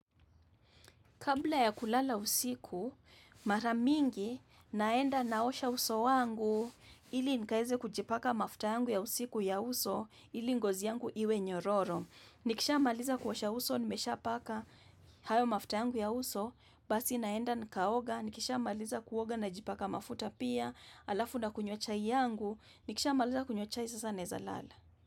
Kabla ya kulala usiku, maramingi. Naenda naosha uso wangu ili nikaeze kujipaka mafuta yangu ya usiku ya uso ili ngozi yangu iwe nyororo. Nikisha maliza kuosha uso, nimesha paka hayo mafuta yangu ya uso, basi naenda nikaoga, nikisha maliza kuoga na jipaka mafuta pia, alafu nakunywa chai yangu, nikisha maliza kunywa chai sasa neza lala.